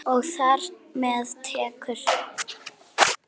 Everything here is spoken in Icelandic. Og þar með tekjur.